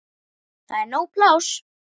Það er nóg pláss.